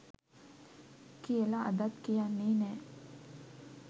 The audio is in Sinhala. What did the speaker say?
කියල අදත් කියන්නේ නෑ